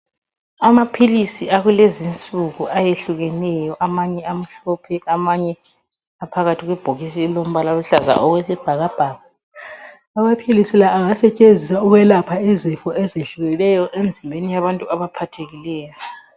Amaphilisi akulezinsuku ayehlukeneyo amanye amhlophe amanye aphakathi kwebhokisi eliyisibhakabhaka. Amaphilisi la angasetshenziswa ukwelapha izifo ezehlukeneyo emzimbeni yabantu abaphathekileyo.